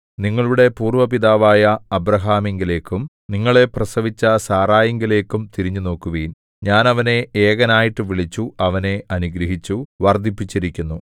നിങ്ങളുടെ പൂര്‍വ്വ പിതാവായ അബ്രാഹാമിങ്കലേക്കും നിങ്ങളെ പ്രസവിച്ച സാറായിങ്കലേക്കും തിരിഞ്ഞുനോക്കുവിൻ ഞാൻ അവനെ ഏകനായിട്ടു വിളിച്ചു അവനെ അനുഗ്രഹിച്ചു വർദ്ധിപ്പിച്ചിരിക്കുന്നു